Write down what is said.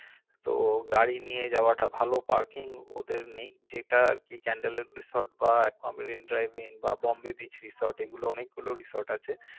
তো গাড়ি নিয়ে যাওয়াটা ভালো parking ওদের নেই যেটা আরকি ক্যান্ডল উড resort বা একুয়া মেরিন ইন ড্রাইভিং বা বোম্বে beach resort এগুলো অনেকগুলো resort আছে